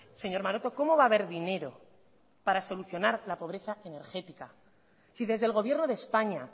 señor maroto cómo va a haber dinero para solucionar la pobreza energética si desde el gobierno de españa